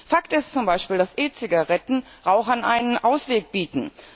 Fakt ist zum Beispiel, dass E Zigaretten Rauchern einen Ausweg bieten.